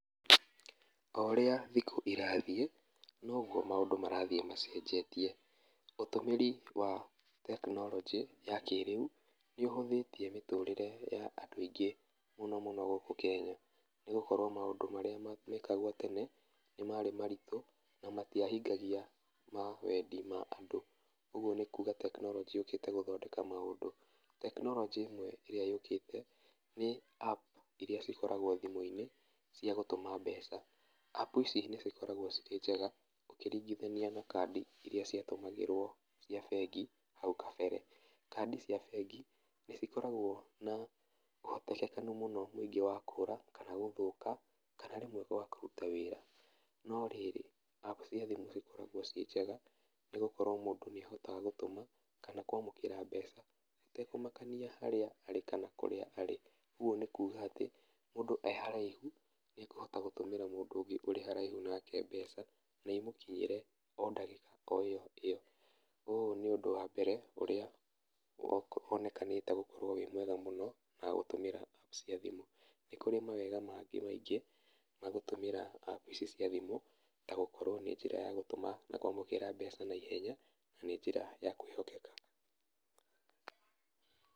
O ũrĩa thikũ irathiĩ, noguo maũndũ marathiĩ macenjetie, ũtũmĩri wa tekinoronjĩ ya kĩrĩu nĩũhũthĩtie mĩtũrĩre ya andũ aingĩ mũno mũno gũkũ kenya, nĩgũkorwo maũndũ marĩa mekagwo tene nĩmarĩ maritũ, na matiahingagia ma wendi ma andũ, ũguo nĩkuga tekinoronjĩ yũkĩte gũthondeka maũndũ ma andũ, tekinoronjĩ ĩno ĩrĩa yũkĩte nĩ App iria cikoragwo thimũ-inĩ, cia gũtũma mbeca, App ici nĩcikoragwo cirí njega ũkĩringithania na kandi iria ciatúmagĩrwo cia bengi, hau kabere, kandi cia bengi nĩcikoragwo ũhotekeku mũno mũingĩ wa kũra, kana gũthũka, kana rĩmwe kwaga kũruta wĩra, no rĩrĩ, App ciothe nĩcikoragwo ciĩ njega, nĩgũkorwo mũndũ nĩahotaga gũtũma, kana kwamũkĩra mbeca, hatekũmakania harĩa arĩ kana kũrĩa arĩ, ũguo nĩkuga atĩ, mũndũ e haraihu, nĩekũhota gũtũmĩra mũndũ ũngĩ ũrĩ haraihu nake mbeca, naimũkinyĩre o ndagĩka o ĩyo ĩyo, ũyũ nĩ ũndũ wa mbere ũrĩa ũgũ wonekanĩte gũkorwo wĩ mwega mũno nogatũmĩra App cia thimũ, níkũrĩ mawega mangĩ maingĩ, magũtũmĩra App icio cia thimũ, ta gũkorwo na njĩra ya gũtũma na kwamũkĩra mbeca naihenya, na nĩ njĩra ya kwĩhokeka.